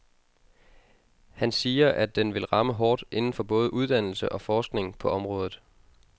Han siger, at den vil ramme hårdt inden for både uddannelse og forskning på området.